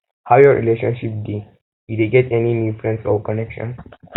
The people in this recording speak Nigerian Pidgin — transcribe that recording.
how your relationship dey you dey get any new friends or connections